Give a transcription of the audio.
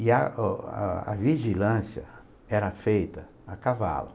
E o a a vigilância era feita a cavalo.